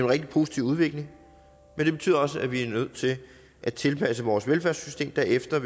rigtig positiv udvikling men det betyder også at vi er nødt til at tilpasse vores velfærdssystem derefter